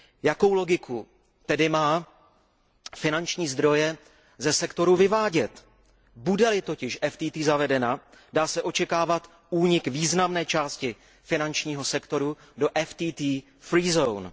Jakou logiku tedy má finanční zdroje ze sektoru odvádět? Bude li totiž DFT zavedena, dá se očekávat únik významné části finančního sektoru do DFT free zone